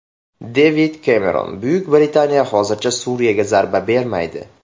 Devid Kemeron: Buyuk Britaniya hozircha Suriyaga zarba bermaydi .